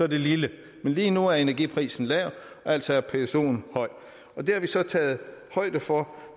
lille men lige nu er energiprisen lav altså er psoen høj og det har vi så taget højde for